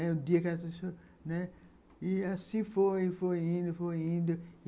E assim foi, foi indo, foi indo.